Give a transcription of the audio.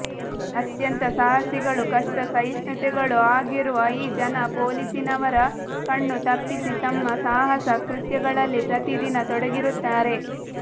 ಅತ್ಯಂತ ಸಾಹಸಿಗಳೂ ಕಷ್ಟ ಸಹಿಷ್ಣುಗಳೂ ಆಗಿರುವ ಈ ಜನ ಪೋಲಿಸಿನವರ ಕಣ್ಣು ತಪ್ಪಿಸಿ ತಮ್ಮ ಸಾಹಸ ಕೃತ್ಯಗಳಲ್ಲಿ ಪ್ರತಿದಿನ ತೊಡಗಿರುತ್ತಾರೆ